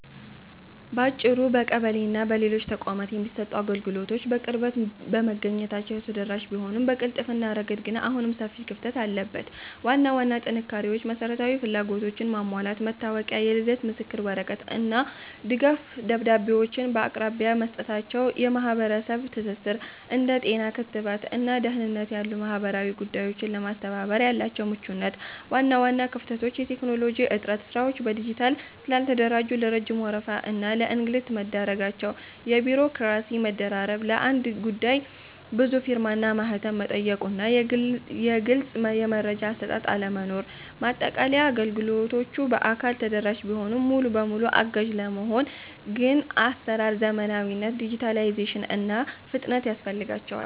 ባጭሩ፣ በቀበሌና በሌሎች ተቋማት የሚሰጡ አገልግሎቶች በቅርበት በመገኘታቸው ተደራሽ ቢሆኑም፣ በቅልጥፍና ረገድ ግን አሁንም ሰፊ ክፍተት አለበት። ዋና ዋና ጥንካሬዎች መሰረታዊ ፍላጎቶችን ማሟላት፦ መታወቂያ፣ የልደት ምስክር ወረቀት እና ድጋፍ ደብዳቤዎችን በአቅራቢያ መስጠታቸው። የማህበረሰብ ትስስር፦ እንደ ጤና (ክትባት) እና ደህንነት ያሉ ማህበራዊ ጉዳዮችን ለማስተባበር ያላቸው ምቹነት። ዋና ዋና ክፍተቶች የቴክኖሎጂ እጥረት፦ ስራዎች በዲጂታል ስላልተደራጁ ለረጅም ወረፋ እና ለእንግልት መዳረጋቸው። የቢሮክራሲ መደራረብ፦ ለአንድ ጉዳይ ብዙ ፊርማና ማህተም መጠየቁና ግልጽ የመረጃ አሰጣጥ አለመኖር። ማጠቃለያ፦ አገልግሎቶቹ በአካል ተደራሽ ቢሆኑም፣ ሙሉ በሙሉ አጋዥ ለመሆን ግን የአሰራር ዘመናዊነት (ዲጂታላይዜሽን) እና ፍጥነት ያስፈልጋቸዋል።